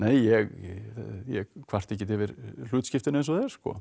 ég ég kvarta ekkert yfir hlutskiptinu eins og það er